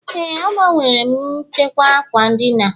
Ee, agbanwere m nchekwa ákwà ndina